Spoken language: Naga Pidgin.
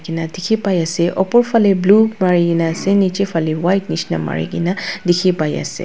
Kena dekhi pai ase upor phale blue marikena ase niche phale white nishina mari kena dekhi pai ase.